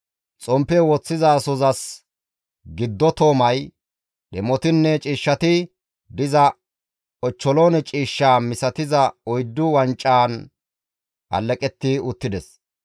xomppe woththizasozas giddo toomay, dhemotinne ciishshati diza ochcholoone ciishshe misatiza oyddu wancan alleqetti uttides.